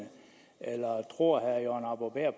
eller tror herre jørgen arbo bæhr